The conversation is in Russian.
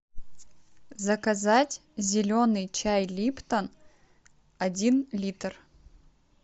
заказать зеленый чай липтон один литр